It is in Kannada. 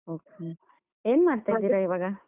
Okay , ಏನ್ ಮಾಡ್ತಿದ್ದೀರಾ